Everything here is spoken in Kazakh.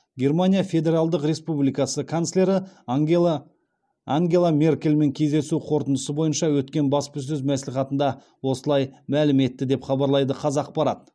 германия федералдық республикасы канцлері ангела ангела меркельмен кездесу қорытындысы бойынша өткен баспасөз мәслихатында осылай мәлім етті деп хабарлайды қазақпарат